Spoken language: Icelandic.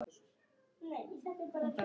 Barnið dró að sér andann.